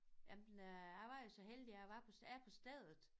Jamen øh jeg var jo så heldig jeg var på er på stedet